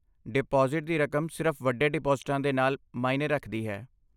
Deposit ਦੀ ਰਕਮ ਸਿਰਫ ਵੱਡੇ ਡਿਪਾਜ਼ਿਟਾਂ ਦੇ ਨਾਲ ਮਾਇਨੇ ਰੱਖਦੀ ਹੈ।